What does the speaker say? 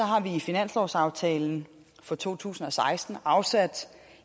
har vi i finanslovsaftalen for to tusind og seksten afsat